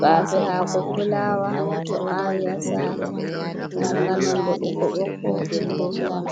Bafe hako fulawa do awi ha sare, mar nga nonde ɓokko ɓokko be danewa.